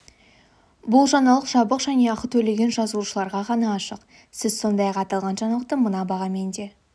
бұл жаңалық жабық және ақы төлеген жазылушыларға ғана ашық сіз сондай-ақ аталған жаңалықты мына бағамен де